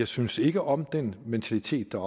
synes ikke om den mentalitet der